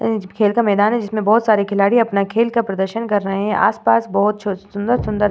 अ खेल का मैदान है। जिसमे बहुत सारे खिलाडी अपने खेल का प्रदर्शन कर रहे हैं। आसपास बहुत छ सुंदर सुंदर --